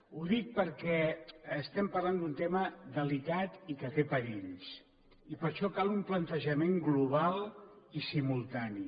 ho dic perquè estem parlant d’un tema delicat i que té perills i per això cal un plantejament global i simultani